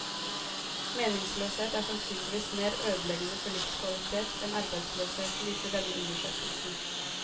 Meningsløshet er sannsynligvis mer ødeleggende for livskvalitet enn arbeidsløshet, viser denne undersøkelsen.